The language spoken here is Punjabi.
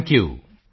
thank you